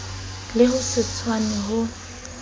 le ho se tshwane ho